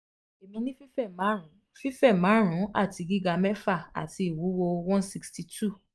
emi ni fife marun fife marun ati giga mefa ati iwuwo one sixty two um